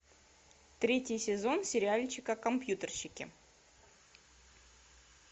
третий сезон сериальчика компьютерщики